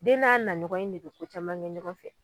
Den n'a naɲɔgɔn in de be ko caman ŋɛ ɲɔgɔn fɛ